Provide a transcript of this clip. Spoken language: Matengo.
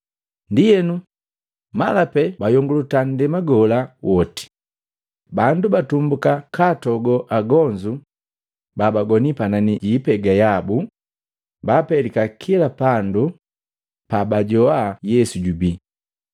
Ndienu, mala pee bayongulata nndema gola woti, bandu batumbuka katogo agonzu babagoni panani ji ipega yabu, baapelika kila pandu pabajoa Yesu jubi.